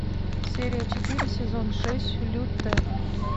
серия четыре сезон шесть лютер